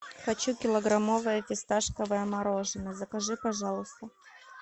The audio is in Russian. хочу килограммовое фисташковое мороженое закажи пожалуйста